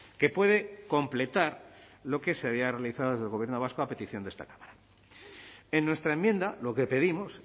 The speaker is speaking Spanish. que puede completar lo que se había realizado desde el gobierno vasco a petición de esta cámara en nuestra enmienda lo que pedimos